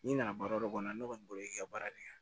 N'i nana baara o kɔnɔ ne kɔni bolo i ka baara de kan